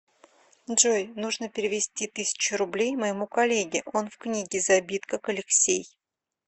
джой нужно перевести тысячу рублей моему коллеге он в книге забит как алексей